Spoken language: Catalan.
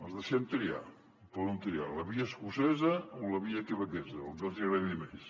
els deixem triar poden triar la via escocesa o la via quebequesa la que els hi agradi més